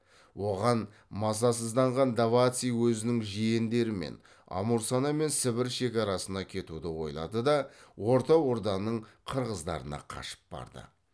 оған мазасызданған даваци өзінің жиендерімен амурсана мен сібір шекарасына кетуді ойлады да орта орданың қырғыздарына қашып барды